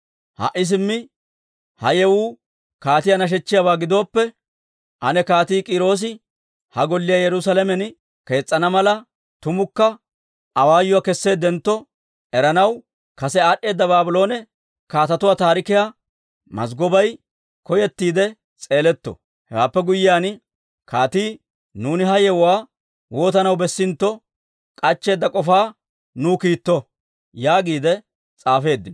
«Ha"i simmi ha yewuu kaatiyaa nashechchiyaaba gidooppe, ane Kaatii K'iiroosi ha Golliyaa Yerusaalamen kees's'ana mala, tumukka awaayuwaa kesseeddentto eranaw kase aad'd'eeda Baabloone kaatetuwaa taarikiyaa mazggobay koyettiide s'eeletto. Hewaappe guyyiyaan, kaatii nuuni ha yewuwaa waatanaw bessintto k'achcheedda k'ofaa nuw kiitto» yaagiide s'aafeeddino.